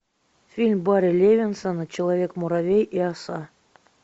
фильм барри левинсона человек муравей и оса